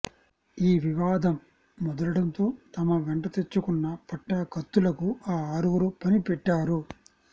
ఈ వివాదం ముదరడంతో తమ వెంట తెచ్చుకున్న పట్టా కత్తులకు ఆ ఆరుగురు పని పెట్టారు